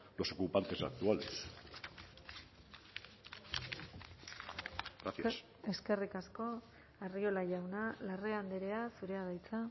los ocupantes actuales gracias eskerrik asko arriola jauna larrea andrea zurea da hitza